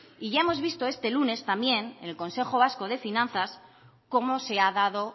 y ya hemos visto este lunes también en el consejo vasco de finanzas cómo se ha dado